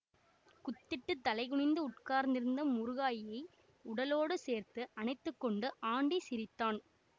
குத்திட்டுத் தலை குனிந்து உட்கார்ந்திருந்த முருகாயியை உடலோடு சேர்த்து அணைத்து கொண்டு ஆண்டி சிரித்தான்